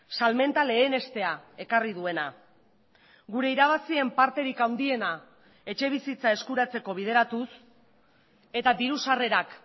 salmenta lehenestea ekarri duena gure irabazien parterik handiena etxebizitza eskuratzeko bideratuz eta diru sarrerak